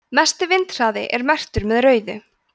mesti vindhraði er merktur með rauðu